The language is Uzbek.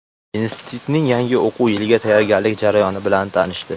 institutning yangi o‘quv yiliga tayyorgarlik jarayoni bilan tanishdi.